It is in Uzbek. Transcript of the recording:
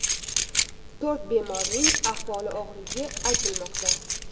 To‘rt bemorning ahvoli og‘irligi aytilmoqda .